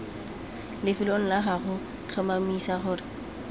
lefelong la gago tlhomamisa gore